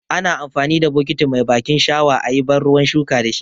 Ana amfani da bukiti mai bakin shawa ayi ban ruwan shuka dashi.